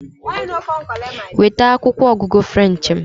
Weta akwụkwọ ọgụgụ French m!